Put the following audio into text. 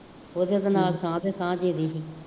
ਉਹਦੇ ਤੇ ਨਾਲ ਸਾਹ ਅਤੇ ਸਾਹ